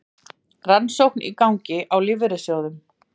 Rannsókn í gangi á lífeyrissjóðunum